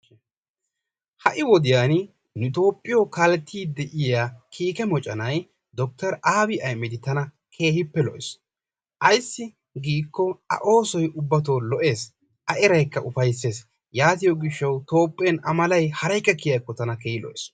Ha'i wodiyan nu tophiyoo kalettiddi de'iyaa kikee mocconay dokter abby ahimedi tana kehippe lo'ees, aysi gikko a ossoy ubbaytto lo'ees,a eraykka ufaysesi, yatiyoo gishawu, tophiyan a malay haraykka kiyakko tana lo'ees.